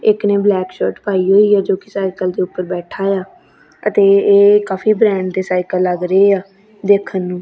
ਇੱਕ ਨੇ black shirt ਪਾਈ ਹੋਈ ਹੈ ਜੋ ਕਿ ਸਾਈਕਲ ਦੇ ਉੱਪਰ ਬੈਠਾ ਆ ਅਤੇ ਇਹ ਕਾਫੀ ਬ੍ਰਾਂਡ ਦੇ ਸਾਈਕਲ ਲੱਗ ਰਹੀ ਆ ਦੇਖਣ ਨੂੰ।